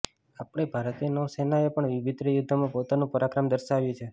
આપણી ભારતીય નૌસેનાએ પણ વિભિત્ર યુદ્ધોમાં પોતાનું પરાક્રમ દર્શાવ્યું છે